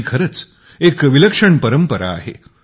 ही खरच एक विलक्षण परंपरा आहे